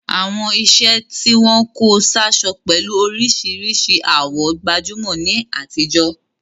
Àwọn iṣẹ́ tí wọ́n kó sáṣọ pẹ̀lú oríṣìíríṣìí àwọ̀ gbajúmọ̀ ní àtijọ́.